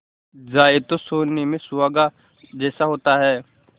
जाए तो सोने में सुहागा जैसा होता है